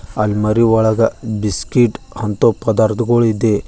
ಅಲ್ ಮರಿ ಒಳಗ ಬಿಸ್ಕೆಟ್ ಅಂತೋ ಪದಾರ್ಥಗಳು ಇದೆ.